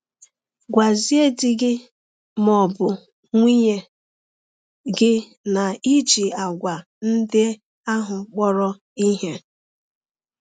Gwazie di gị ma ọ bụ nwunye gị na i ji àgwà ndị ahụ kpọrọ ihe.